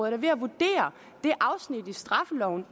er ved at vurdere det afsnit i straffeloven